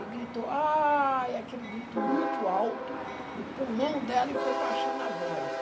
E gritou, ai, aquele grito muito alto do pulmão dela e foi baixando a voz.